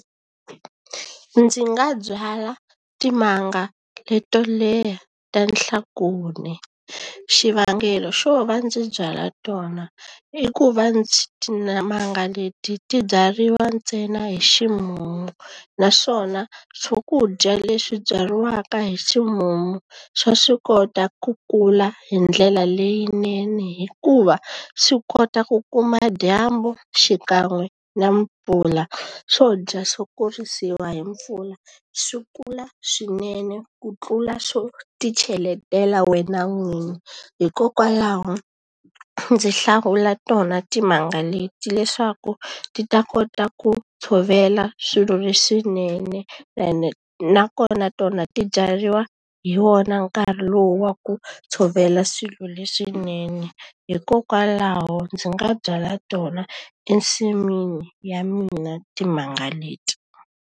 Ndzi nga byala timanga leto leha ta . Xivangelo xo va ndzi byala tona i ku va ndzi timanga leti tibyariwa ntsena hi ximumu, naswona swakudya leswi byariwaka hi ximumu swa swi kota ku kula hi ndlela leyinene hikuva swi kota ku kuma dyambu xikan'we na mpfula. Swo dya xo kurisiwa hi mpfula swi kula swinene ku tlula swo ti cheletela wena n'winyi. Hikokwalaho ndzi hlawula tona timanga leti, leswaku ti ta kota ku tshovela swilo leswinene ene nakona tona ti byariwa hi wona nkarhi lowu wa ku tshovela swilo leswinene. Hikokwalaho ndzi nga byala tona ensin'wini ya mina timanga leti.